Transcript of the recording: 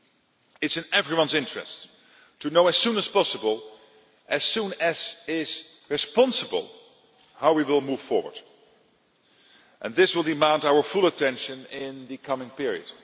It is in everyone's interests to know as soon as possible as soon as is responsible how we will move forward, and this will demand our full attention in the coming period.